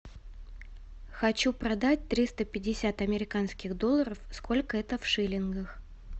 хочу продать триста пятьдесят американских долларов сколько это в шиллингах